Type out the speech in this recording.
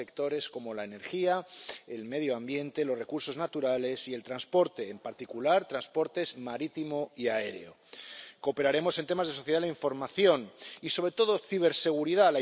en sectores como la energía, el medio ambiente, los recursos naturales y el transporte, en particular, transportes marítimo y aéreo. Cooperaremos en temas de sociedad de la información y, sobre todo, ciberseguridad.